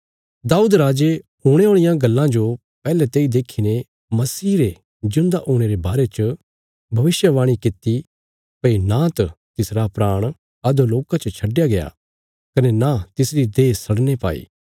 दाऊद राजे हुणे औल़ियां गल्लां जो पैहले तेई देखीने मसीह रे जिऊंदा हुणे रे बारे च भविष्यवाणी कित्ती भई नांत तिसरा प्राण अधोलोका च छडया गया कने नां तिसरी देह सड़ने पाई